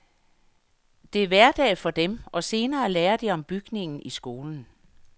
Det er hverdag for dem, og senere lærer de om bygningen i skolen.